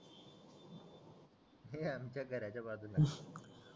हे आमच्या घराच्या बाजूला